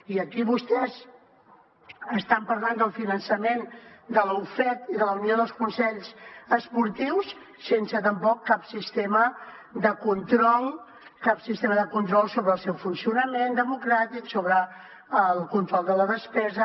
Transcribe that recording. i aquí vostès estan parlant del finançament de la ufec i de la unió de consells esportius sense tampoc cap sistema de control cap sistema de control sobre el seu funcionament democràtic sobre el control de la despesa